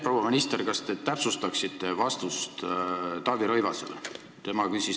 Proua minister, kas te täpsustaksite vastust Taavi Rõivasele?